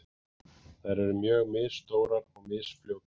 Þær eru mjög misstórar og misfljótar.